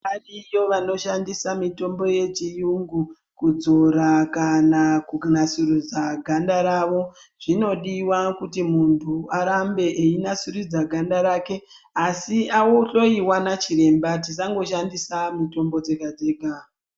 Variyo vanoshandisa mitombo yechiyungu kudzora kana kunasiridza ganda ravo zvinodiwa kuti muntu arambe einasiridza ganda rake asi ahloyiwa nachiremba tisandoshandisa mitombo dzega dzega.